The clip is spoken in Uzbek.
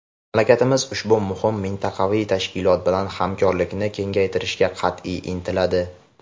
Mamlakatimiz ushbu muhim mintaqaviy tashkilot bilan hamkorlikni kengaytirishga qat’iy intiladi.